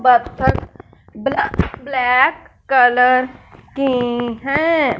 बत्तख ब्ला black colour की है।